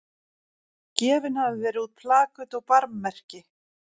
Gefin hafa verið út plaköt og barmmerki.